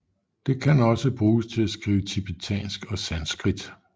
Det kan også bruges til at skrive tibetansk og sanskrit